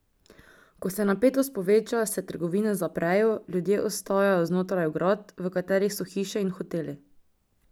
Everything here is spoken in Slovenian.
Ko se napetost poveča, se trgovine zaprejo, ljudje ostajajo znotraj ograd, v katerih so hiše in hoteli.